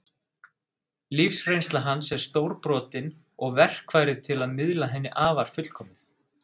Lífsreynsla hans er stórbrotin og verkfærið til að miðla henni afar fullkomið.